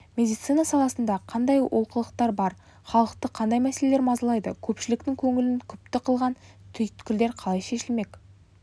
медицина саласында қандай олқылықтар бар халықты қандай мәселелер мазалайды көпшіліктің көңілін күпті қылған түйткілдер қалай шешілмек